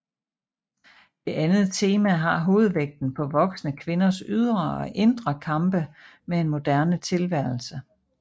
Det andet tema har hovedvægten på voksne kvinders ydre og indre kampe med en moderne tilværelse